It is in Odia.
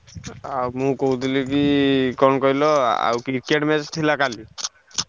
ଆଉ ମୁଁ କହୁଥିଲି କି କଣ କହିଲ ଅ ଆଉ Cricket match ଥିଲା କାଲି।